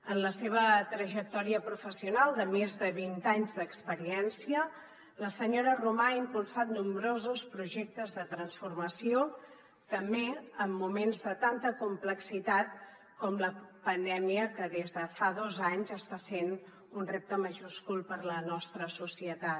en la seva trajectòria professional de més de vint anys d’experiència la senyora romà ha impulsat nombrosos projectes de transformació també en moments de tanta complexitat com la pandèmia que des de fa dos anys està sent un repte majúscul per a la nostra societat